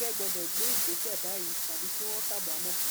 ẹgbẹ gbọdọ gbé ìgbésẹ báyìí tàbí kí wọn kábàámọ